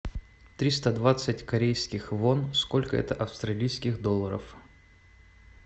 триста двадцать корейских вон сколько это австралийских долларов